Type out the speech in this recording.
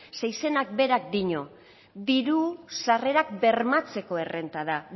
zeren izenak berak dio diru sarrerak bermatzeko errenta da